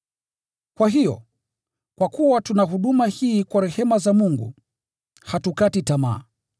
Kwa hiyo, kwa kuwa tuna huduma hii kwa rehema za Mungu, hatukati tamaa.